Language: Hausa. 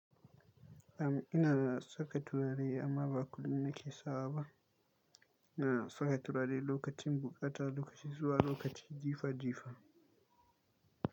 Am ina saka turare amma ba kullum na ke sawa ba. Ina saka turare lokacin bukata, lokacin zuwa, lokacin jifa jifa.